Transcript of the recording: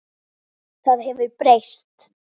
Það hefur breyst.